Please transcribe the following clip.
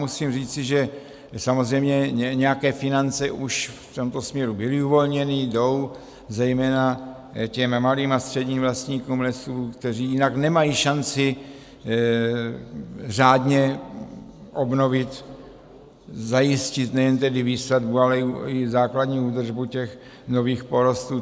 Musím říci, že samozřejmě nějaké finance už v tomto směru byly uvolněné, jdou zejména těm malým a středním vlastníkům lesů, kteří jinak nemají šanci řádně obnovit, zajistit nejen tedy výsadbu, ale i základní údržbu těch nových porostů.